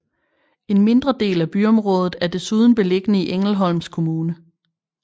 En mindre del af byområdet er desuden beliggende i Ängelholms kommune